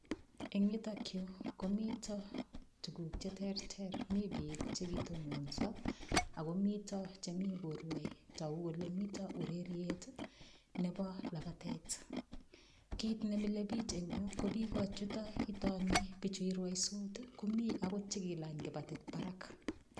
Eng' yutokyu komito tukuk cheterter mi biik chekitononso akomito chemi korwoi toku kole mito ureriet nebo labatet kiit nemilei biich eng' ko biko chuto itoni bichu irwoisot komi akot chekilany kibatit barak